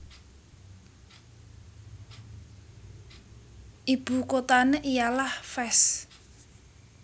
Ibu kuthané ialah Fès